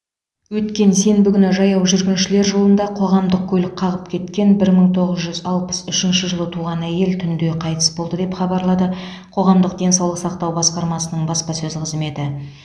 өткен сенбі күні жаяу жүргіншілер жолында қоғамдық көлік қағып кеткен бір мың тоғыз жүз алпыс үшінші жылы туған әйел түнде қайтыс болды деп хабарлады қоғамдық денсаулық сақтау басқармасының баспасөз қызметі